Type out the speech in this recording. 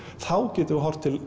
þá getum við horft til